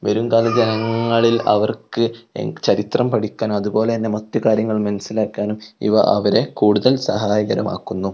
വരുംകാല ജനങ്ങളിൽ അവർക്ക് ചരിത്രം പഠിക്കാൻ അതുപോലെതന്നെ മറ്റു കാര്യങ്ങൾ മനസ്സിലാക്കാനും ഇവ അവരെ കൂടുതൽ സഹായകരമാക്കുന്നു.